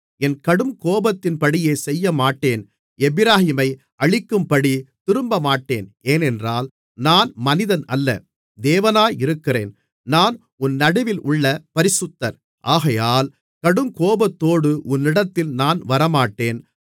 என் கடுங்கோபத்தின்படியே செய்யமாட்டேன் எப்பிராயீமை அழிக்கும்படித் திரும்பமாட்டேன் ஏனென்றால் நான் மனிதனல்ல தேவனாயிருக்கிறேன் நான் உன் நடுவிலுள்ள பரிசுத்தர் ஆகையால் கடுங்கோபத்தோடு உன்னிடத்தில் நான் வரமாட்டேன்